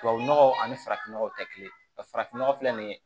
Tubabu nɔgɔ ani farafin nɔgɔ tɛ kelen ye wa farafinnɔgɔ filɛ nin ye